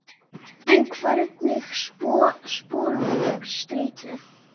En hvernig spornum við gegn streitu?